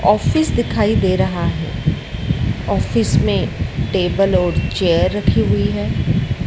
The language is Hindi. ऑफिस दिखाई दे रहा है ऑफिस में टेबल और चेयर रखी हुई है।